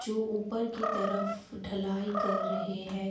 जो ऊपर की तरफ ढ़लाई कर रहे हैं।